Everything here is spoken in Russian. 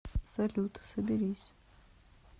салют соберись